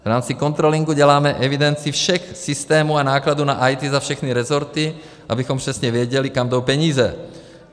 V rámci controllingu děláme evidenci všech systémů a nákladů na IT za všechny rezorty, abychom přesně věděli, kam jdou peníze.